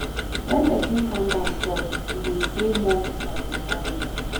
When person calm down chop, e dey dey more satisfying